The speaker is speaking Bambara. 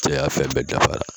Cɛya fɛn bɛɛ dafara